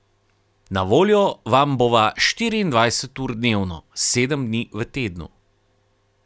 Na voljo vam bova štiriindvajset ur dnevno, sedem dni v tednu.